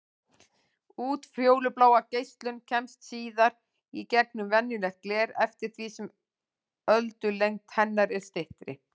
Útfjólublá geislun kemst síður í gegnum venjulegt gler eftir því sem öldulengd hennar er styttri.